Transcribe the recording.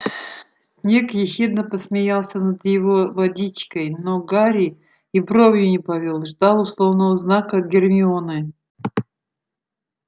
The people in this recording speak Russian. снегг ехидно посмеялся над его водичкой но гарри и бровью не повёл ждал условного знака от гермионы